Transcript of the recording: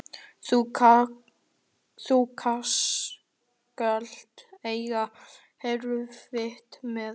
Þú skalt eiga erfitt með það.